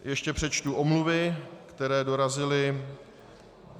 Ještě přečtu omluvy, které dorazily.